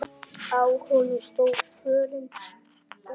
Á honum stóð: Fórum út!